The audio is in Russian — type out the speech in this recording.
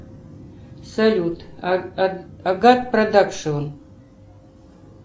салют агат продакшион